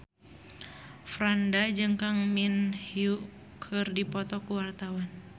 Franda jeung Kang Min Hyuk keur dipoto ku wartawan